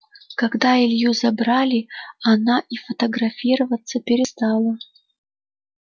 когда илью забрали она и фотографироваться перестала